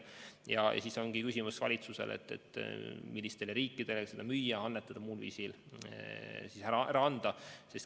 Ja siis ongi valitsusel küsimus, mis riikidele seda müüa, annetada, muul viisil ära anda.